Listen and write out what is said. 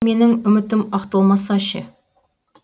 менің үмітім ақталмаса ше